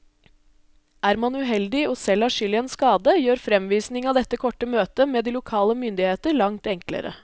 Er man uheldig og selv har skyld i en skade, gjør fremvisning av dette kortet møtet med de lokale myndigheter langt enklere.